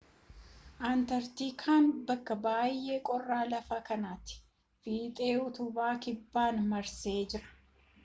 antarkiitiikan bakkaa bay'ee qorraa lafa kanaati fiixee utubaa kibbaa marsee jira